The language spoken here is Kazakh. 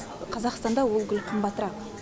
қазақстанда ол гүл қымбатырақ